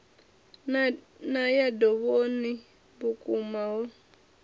u ya dovhoni vhukoma ho